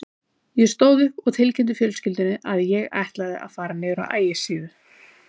Ég stóð upp og tilkynnti fjölskyldunni að ég ætlaði að fara niður á Ægisíðu.